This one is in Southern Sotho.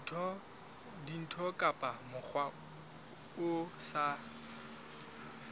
dintho ka mokgwa o sa